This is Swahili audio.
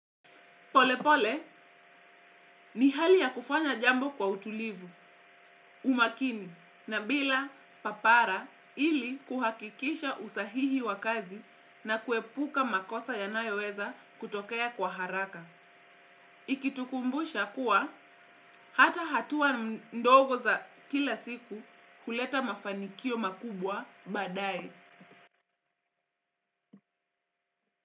Polepole, ni hali ya kufanya jambo kwa utulivu, umakini, na bila papara ili kuhakikisha usahihi wa kazi na kuepuka makosa yanayoweza kutokea kwa haraka. Ikitukumbusha kuwa, hata hatua ndogo za kila siku huleta mafanikio makubwa baadae.